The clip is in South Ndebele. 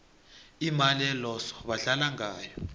imali eloso badlala ngayo